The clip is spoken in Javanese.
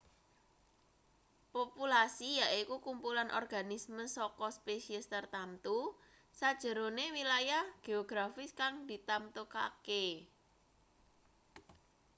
populasi yaiku kumpulan organisme saka spesies tartamtu sajerone wilayah geografis kang ditamtokake